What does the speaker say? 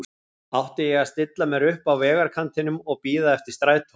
Átti ég að stilla mér upp á vegarkantinum og bíða eftir strætó?